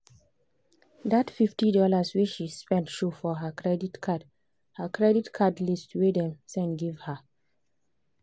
that fifty dollars wey she spend show for her credit card her credit card list wey dem send give her.